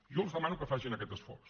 jo els demano que facin aquest esforç